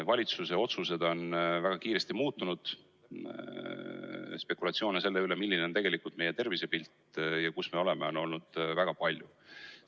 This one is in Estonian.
Valitsuse otsused on väga kiiresti muutunud, spekulatsioone selle üle, milline on tegelikult meie tervisepilt ja kus me oleme, on olnud väga palju.